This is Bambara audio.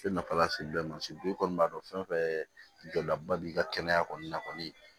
I nafa lase den ma i kɔni b'a dɔn fɛn fɛn jɔdaba b'i ka kɛnɛya kɔni na kɔni